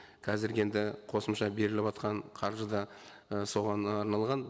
қазіргі енді қосымша беріліватқан қаржы да ы соған арналған